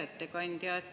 Hea ettekandja!